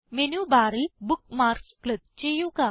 menu ബാറിൽ bookmarks click ചെയ്യുക